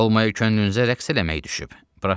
Olmayay könlünüzə rəqs eləmək düşüb.